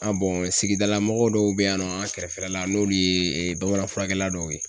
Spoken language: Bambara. Aa sigidala mɔgɔ dɔw be yen nɔ an kɛrɛfɛla la , n'olu ye bamananfurakɛla dɔw ye.